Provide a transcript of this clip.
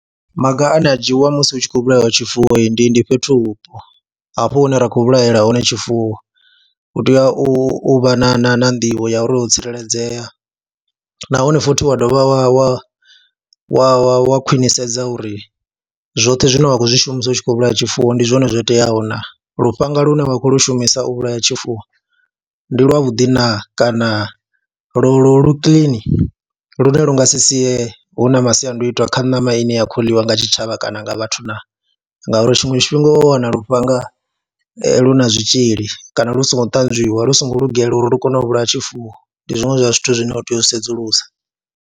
Maga ane a dzhiiwa musi hu tshi khou vhulaiwa tshifuwo ndi ndi fhethu vhupo, hafho hune ra khou vhulahela hone tshifuwo hu tea u vha na na na nḓivho ya uri ho tsireledzea nahone futhi wa dovha wa wa wa wa wa khwinisedza uri zwoṱhe zwine wa khou zwi shumisa u tshi khou vhulaya tshifuwo ndi zwone zwo teaho naa, lufhanga lune wa khou lwo shumisa u vhulaya tshifuwo ndi lwavhudi naa kana lo lo lu kiḽini lune lu nga si sie hu na masiandoitwa itwa kha ṋama ine ya khou ḽiwa nga tshitshavha kana nga vhathu naa, ngauri tshiṅwe tshifhinga wa wana lufhanga lu na zwitzhili kana lu songo ṱanzwiwa, lu songo lugela uri lu kone u vhulaha tshifuwo, ndi zwiṅwe zwa zwithu zwine u tea u sedzulusa.